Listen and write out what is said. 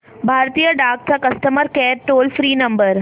भारतीय डाक चा customer care toll free number